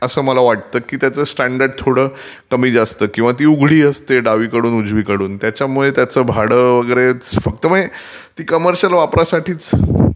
असं मला वाटतं की त्याचं स्टॅर्डर्ड थोडं कमी जास्त किंवा ती उघडी असते डावी कडून उजवी कडून त्यामुळे त्याचं भाडं वगैरे... म्हणजे ती कमर्शियल वापरासाठीचं...